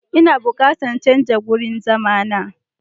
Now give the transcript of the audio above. Ina bukatan canza wurin zama na.